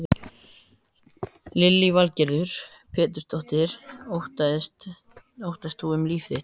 Lillý Valgerður Pétursdóttir: Óttaðist þú um líf þitt?